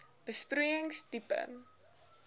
besproeiing tipe